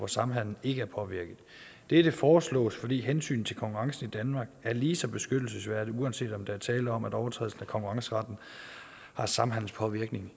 samhandelen ikke er påvirket dette foreslås fordi hensynet til konkurrencen i danmark er lige så beskyttelsesværdig uanset om der er tale om at overtrædelse af konkurrenceretten har samhandelspåvirkning